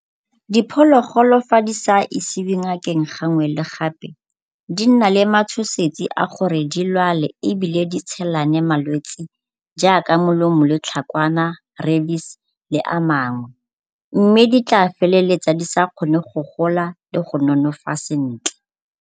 Diphologolo ga di sa isiwe ngakeng gangwe le gape di nna le matshosetsi a gore di lwale ebile di tshelane malwetsi jaaka le tlhakwana, rabies le a mangwe mme di tla feleletsa di sa kgone go gola le go nonofa sentle.